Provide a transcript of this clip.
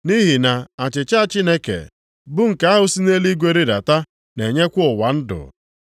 Nʼihi na achịcha Chineke bụ nke ahụ si nʼeluigwe rịdata, na-enyekwa ụwa ndụ.”